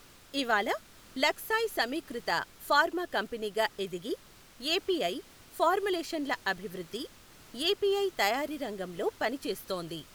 ఇవాళ లక్సాయ్ సమీకృత ఫార్మా కంపెనీగా ఎదిగి, ఎపిఐ, ఫార్ములేషన్ల అభివృద్ధి, ఎపిఐ తయారీరంగంలో పనిచేస్తోంది.